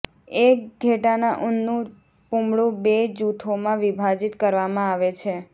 એક ઘેટાના ઊનનું પૂમડું બે જૂથોમાં વિભાજિત કરવામાં આવે છે